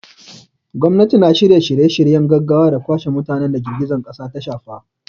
Gwamnati na shirya shirye-shiryen gaggawa da kwashe mutanen da girgizar kasar ta shafa.